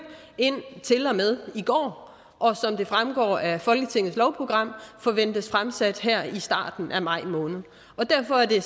til og med i går og som det fremgår af folketingets lovprogram forventes det fremsat her i starten af maj måned derfor er det